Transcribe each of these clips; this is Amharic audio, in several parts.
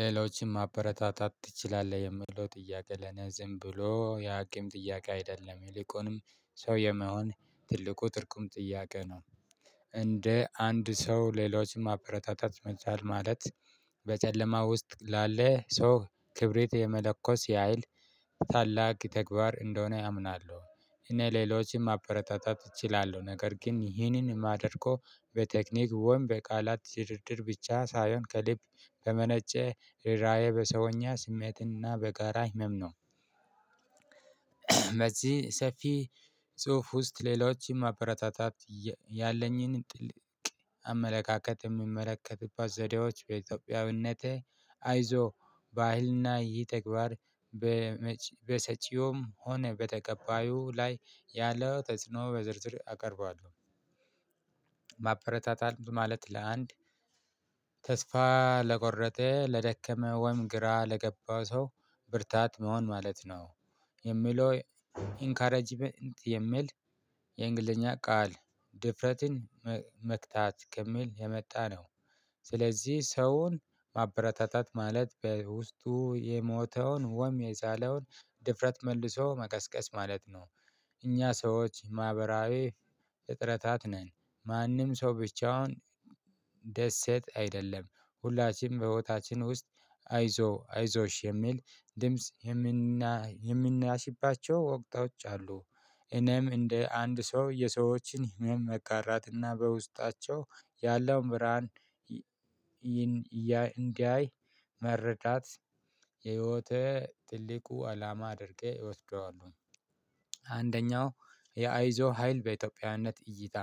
ሌሎችን ማበረታታት ትችላለህ የምለው ጥያቄ ለኔ ዝም ብሎ የሀኪም ጥያቄ አይደለም የሊቁንም ሰው የመሆን ትልቁ ትርጉም ጥያቄ ነው። እንደ አንድ ሰው ሌሎችን ማበረታታት መቻል ማለት በጨለማ ውስጥ ላለ ሰው ክብሪት የመለኮስ የሀይል ታላቅ ተግባር እንደሆነ ያምናሉ። እኔ ሌሎችም ማበረታታት እችላለሁ ነገር ግን ይህንን ማደርጎ በቴክኒክ ወይም በቃላት ድርድር ብቻ ሳይሆን ከሊብ በመነጨ ርራዬ በሰውኛ ስሜትና በጋራ ህመም ነው። በዚህ ሰፊ ጽሁፍ ውስጥ ሌሎችም ማበረታታት ያለኝን ጥልቅ አመለካከት የሚመለከትበት ዘዴዎች በኢትዮጵያዊነቴ አይዞ በሃይልና ይህ ተግባር በሰጪውም ሆነ በተቀባዩ ላይ ያለው ተጽኖ በዝርዝር አቀርባለሁ። ማበረታታል ማለት ለአንድ ተስፋ ለቆረጠ ለደከመ ወይም ግራ ለገባ ሰው ብርታት መሆን ማለት ነው። የሚለው ኢንከረጅመንት የሚል የእንግሊዘኛ ቃል ድፍረትን መክታት ከሚል የመጣ ነው። ስለዚህ ሰውን ማበረታታት ማለት በውስጡ የሞተውን ወም የሳለውን ድፍረት መልሶ መቀስቀስ ማለት ነው። እኛ ሰዎች ማህበራዊ እጥረታት ነን። ማንም ሰው ብቻውን ደሰት አይደለም ሁላችንም በቦታችን ውስጥ አይዞ አይዞሽ የሚል ድምጽ የምናሽባቸው ወቅት ወቅቶች አሉ። እኔም እንደ አንድ ሰው የሰዎችን ህመም መጋራትና በውስጣቸው ያለውን ብርሃን እንዲያይ መረዳት የህይወተ ትልቁ አላማ አድርጌ እወስደዋለሁ። አንደኛው የአይዞ ሀይል በኢትዮጵያነት እይታ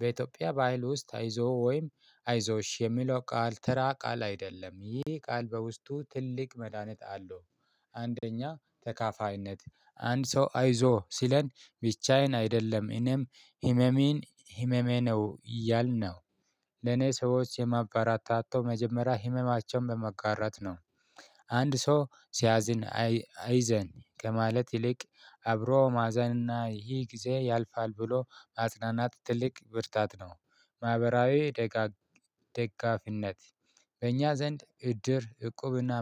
በኢትዮጵያ በአህል ውስጥ አይዞህ ወይም አይዞሽ የሚለው ቃል ተራ ቃል አይደለም ይህ ቃል በውስጡ ትልቅ መድሃኒት አለው። አንደኛ ተካፋይነት አንድ ሰው አይዞህ ሲለን ብቻዬን አይደለም እኔም ህመሜን ህመሜ ነው እያልን ነው። ለኔ ሰዎች የማበረታታው መጀመሪያ ህመማቸውን በመጋራት ነው። አንድ ሰው ሲያዝን አይዘን ከማለት ይልቅ አብሮ ማዘንና ይህ ጊዜ ያልፋል ብሎ ማጽናናት ትልቅ ብርታት ነው። ማህበራዊ ደጋፊነት በእኛ ዘንድ እድር እቁብና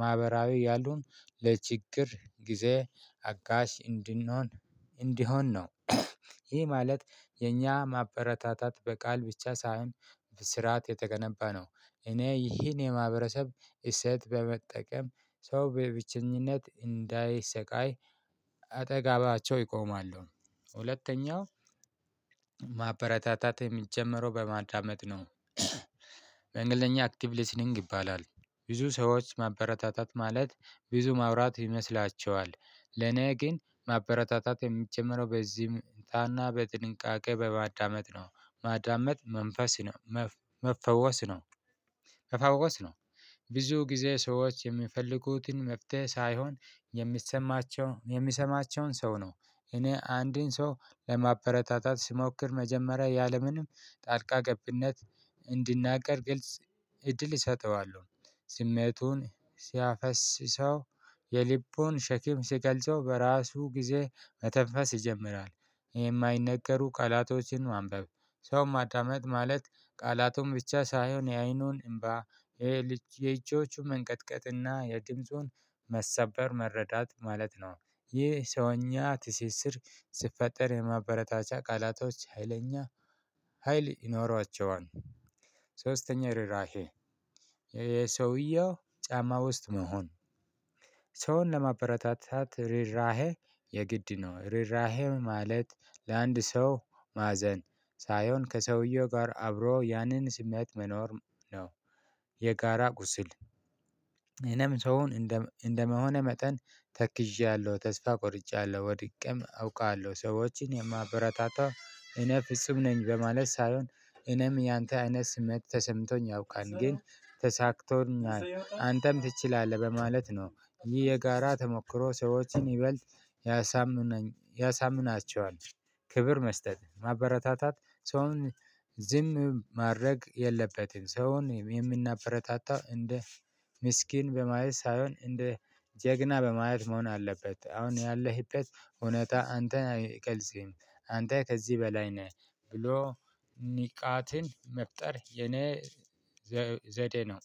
ማህበራዊ ያሉን ለችግር ጊዜ አጋሽ እንድንሆን እንዲሆን ነው። ይህ ማለት የኛ ማበረታታት በቃል ብቻ ሳይሆን በስርዓት የተገነባ ነው። እኔ ይህን የማህበረሰብ እሴት በመጠቀም ሰው በብቸኝነት እንዳይሰቃይ አጠጋባቸው ይቆማሉ። ሁለተኛው ማበረታታት የሚጀመረው በማዳመጥ ነው። በእንግሊዘኛ አክቲቭ ሊሲኒንግ ይባላል። ብዙ ሰዎች ማበረታታት ማለት ብዙ ማውራት ይመስላቸዋል። ለኔ ግን ማበረታታት የሚጀመረው በዚህም ታና በጥንቃቄ በማዳመጥ ነው። ማዳመጥ መንፈስ ነው። ከፈወስ ነው። ብዙ ጊዜ ሰዎች የሚፈልጉትን መፍትሄ ሳይሆን የሚሰማቸውን የሚሰማቸውን ሰው ነው። እኔ አንዴን ሰው ለማበረታታት ስሞክር መጀመሪያ ያለምንም ጣልቃ ገብነት እንዲናገር ግልጽ እድል እሰጠዋለው። ስሜቱን ሲያፈስሰው የሊቡን ሸኪም ሲቀልጸው በራሱ ጊዜ መተንፈስ ይጀምራል። ይሄ የማይነገሩ ቃላቶችን ማንበብ ሰው ማዳመጥ ማለት ቃላቶን ብቻ ሳይሆን የአይኑን እምባ የእጆቹን መንቀጥቀጥና የድምጹን መሰበር መረዳት ማለት ነው። ይህ ሰውኛ ትስስር ሲፈጠር የማበረታቻ ቃላቶች ሀይለኛ ሀይል ይኖሯቸዋል። ሶስተኛው ርራሄ የሰውየው ጫማ ውስጥ መሆን ሰውን ለማበረታታት ርራሄ የግድ ነው ርራሄም ማለት ለአንድ ሰው ማዘን ሳይሆን ከሰውየው ጋር አብሮ ያንን ስሜት መኖር ነው። የጋራ ቁስል እኔም ሰውን እንደመሆኔ መጠን ተክዣለሁ ተስፋ ቆርጫለሁ ወድቄም አውቃለሁ ሰዎችን የማበረታታው እነ ፍጹም ነኝ በማለት ሳይሆን እኔም ያንተ አይነት ስሜት ተሰምቶኝ ያውቃል ግን ተሳክቶኛል አንተም ትችላለህ በማለት ነው ይህ የጋራ ተሞክሮ ሰዎችን ይበልጥ ያሳምነኝ ያሳምናቸዋል። ክብር መስጠት ማበረታታት ሰውን ዝም ማድረግ የለበትም ሰውን የምናበረታታ እንደ ምስኪን በማየት ሳይሆን እንደ ጀግና በማየት መሆን አለበት። አሁን ያለህበት እውነት አንተ አይቀልስህም አንተ ከዚህ በላይ ነህ። ብሎ ንቃትን መፍጠር የኔ ዘዴ ነው